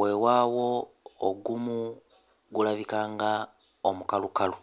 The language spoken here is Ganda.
wewaawo ogumu gulabika nga omukalukalu.